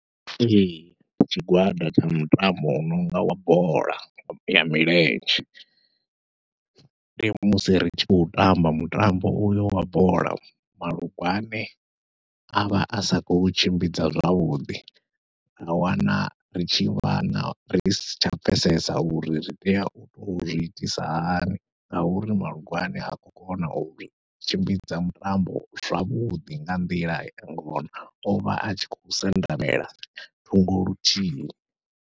Ee tshigwada tsha mitambo u nonga wa bola ya milenzhe, ndi musi ri tshi khou tamba mutambo uyo wa bola malungwane avha a sa khou tshimbidza zwavhuḓi, ra wana ri tshi vha na ri si tsha pfhesesa uri ri tea u zwiitisa hani. Ngauri malungwane ha khou kona u tshimbidza mutambo zwavhuḓi nga nḓila ngona, ovha atshi khou sendamela thungo luthihi.